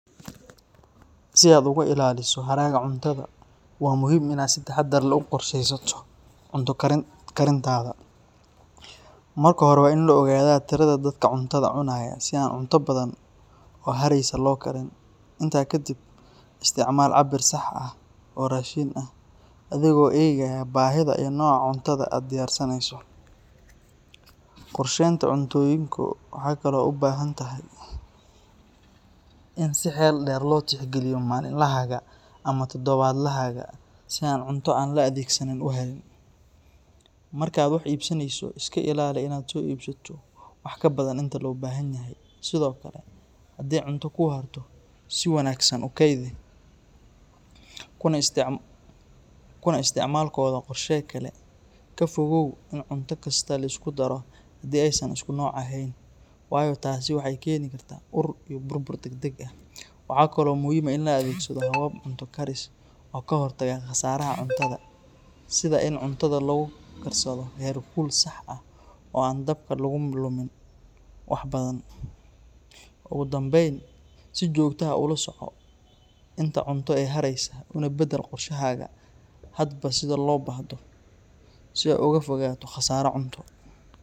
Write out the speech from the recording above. Si aad uga ilaaliso haraga cuntada waa muhiim inaad si taxadar leh u qorsheysato cunto karintaada. Marka hore, waa in la ogaadaa tirada dadka cuntada cunaya si aan cunto badan oo haraysa loo karin. Intaa kadib, isticmaal cabbir sax ah oo raashin ah, adigoo eegaya baahida iyo nooca cuntada aad diyaarinayso. Qorshaynta cuntooyinku waxay kaloo u baahan tahay in si xeel dheer loo tixgeliyo maalinlahaaga ama toddobaadlahaaga si aan cunto aan la adeegsanin u harin. Marka aad wax iibsanayso, iska ilaali inaad soo iibsato wax ka badan inta loo baahanyahay. Sidoo kale, hadii cunto kuu harto, si wanaagsan u kaydi, kuna isticmaalkooda qorshe kale. Ka fogow in cunto kasta la isku daro haddii aysan isku nooc ahayn, waayo taasi waxay keeni kartaa ur iyo burbur degdeg ah. Waxaa kaloo muhiim ah in la adeegsado habab cunto karis oo ka hortaga khasaaraha cuntada sida in cuntada lagu karsado heerkul sax ah oo aan dabka lagu lumin wax badan. Ugu dambayn, si joogto ah u la soco inta cunto ee haraysa, una beddel qorshahaaga hadba sida loo baahdo si aad uga fogaato khasaaro cunto.